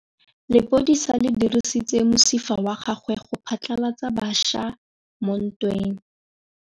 Lepodisa le dirisitse mosifa wa gagwe go phatlalatsa batšha mo ntweng.